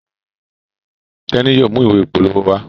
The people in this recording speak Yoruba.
Teni yóò mú ìwé ìpolówó wá.